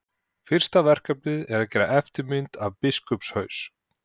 Fyrsta verkefnið er að gera eftirmynd af biskupshaus.